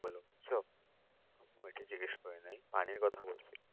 বলো বুঝছো ঐটা জিগেস করিনাই পানির কথা বলছি